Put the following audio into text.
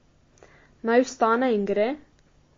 Naj vstane in gre?